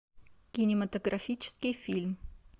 кинематографический фильм